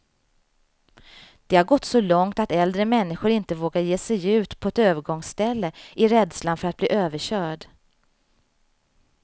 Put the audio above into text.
Det har gått så långt att äldre människor inte vågar ge sig ut på ett övergångsställe, i rädslan för att bli överkörd.